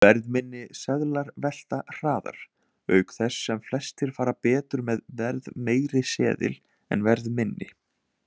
Verðminni seðlar velta hraðar, auk þess sem flestir fara betur með verðmeiri seðil en verðminni.